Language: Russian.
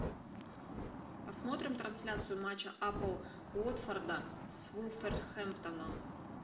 посмотрим трансляцию матча апл уотфорда с вулверхэмптоном